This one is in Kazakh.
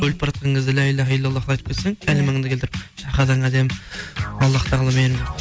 өліп баратқан кезде ля иляха илля ллах ты айтып кетсең калимаңды келтіріп шахадаң әдемі аллах тағала мені